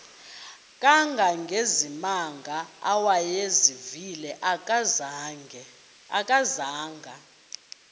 kangangezimanga awayezivile akazanga